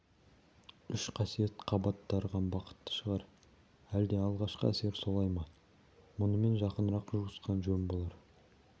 үш қасиет қабат дарыған бақытты шығар әлде алғашқы әсер солай ма мұнымен жақынырақ жуысқан жөн болар